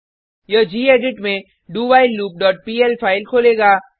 यह गेडिट में dowhileloopपीएल फाइल खोलेगा